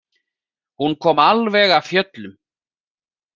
Hún kom alveg af fjöllum.